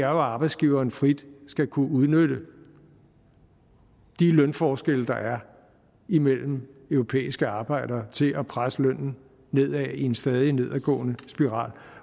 arbejdsgiverne frit skal kunne udnytte de lønforskelle der er imellem europæiske arbejdere til at presse lønnen nedad i en stadig nedadgående spiral